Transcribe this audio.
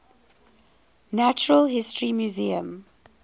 natural history museum